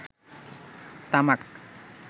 তামাক